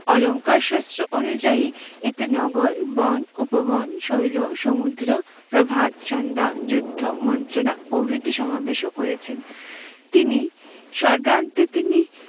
অলংকার শাস্ত্র অনুযায়ী এতে নগর, বন, উপবন, শৈল, সমুদ্র, প্রভাত, ষণ্ডা, যুদ্ধ, মন্ত্রণা প্রভৃতির সমাবেশও করেছেন। তিনি সর্গান্তে তিনি